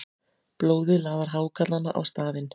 Blóðið laðar hákarlana á staðinn.